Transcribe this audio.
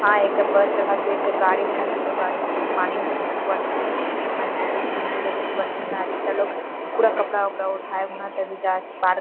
हां एकटा बस रखल छै एकटा गाड़ी रखल छै गाड़ी लेकिन पानी घानी डुबल छै शाही की महल रहे छै महल डुबल रहे छै शायद एकटा लोग पूरा कपड़ा ऊपरा उठा के हुने तभी जाय से पार --